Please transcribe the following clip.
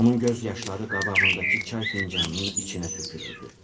Onun göz yaşları qabağındakı çay fincanının içinə tökülürdü.